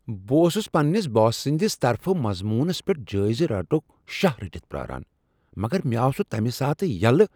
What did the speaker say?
بہٕ اوسس پننس باس سٕنٛد طرفہٕ مضمونس پیٹھ جٲیزٕ رٹنک شاہ رٔٹتھ پیٛاران، مگر یہ آو تمہ ساتہٕ یلہ ۔